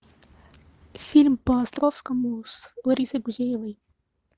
фильм по островскому с ларисой гузеевой